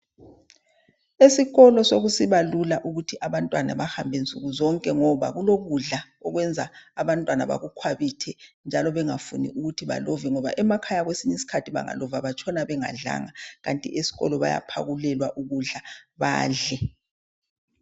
Esikolo sokusiba lula ukuthi abantwana bahambe nsuku zonke ngoba kulokudla okwenza abantwana bakukhwabithe njalo bengafuni ukuthi balove ngoba emakhaya kwesiny' iskhathi bengalova batshona bengadlanga kanti eskolo bayaphakulelwa ukudla badle.